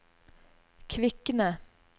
Kvikne